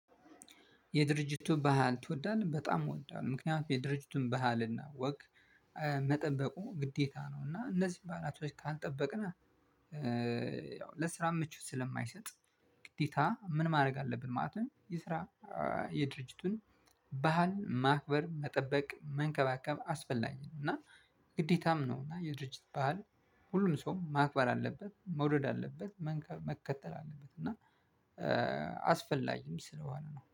የድርጅቱን ባህል ትወዳለህ በጣም እወዳለሁ። ምክንያቱም የድርጅቱን ባህልና ወግ እ መጠበቁ ግዴታ ነው። እና እነዚህ ባላቶች ካልጠበቅን። ያው ለስራ ምቹ ስለማይሰጥ። ግዴታ ምን ማድረግ አለብን ማለት ነው። የስራ የድርጅቱን ባህል ማክበር መጠበቅ መንከባከብ አስፈላጊ ነው እና ግዴታም ነው። እና የድርጅት ባህል ሁሉን ሰው ማክበር አለበት መውረድ አለበት መከተል አለበት። እና አስፈላጊም ስለሆነ ነው